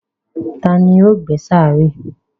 Tani ó gbẹ́ sàárè?